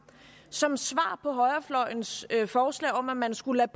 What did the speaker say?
som svar på højrefløjens forslag om at man skulle